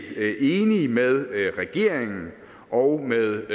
enige med regeringen og med